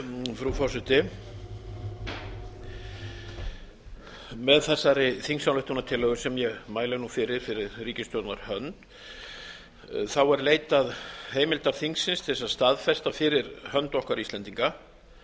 frú forseti með þessari þingsályktunartillögu sem ég mæli nú fyrir fyrir ríkisstjórnar hönd er leitað heimildar þingsins til þess að staðfesta fyrir hönd okkar íslendinga